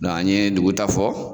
Dɔn an ye ndugu ta fɔ